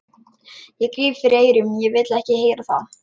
Ég gríp fyrir eyrun, ég vil ekki heyra það!